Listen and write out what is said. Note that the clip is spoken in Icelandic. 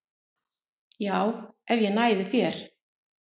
Já, ef ég næði þér